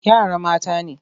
Yara mata ne.